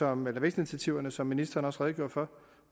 om vækstinitiativerne som ministeren også redegjorde for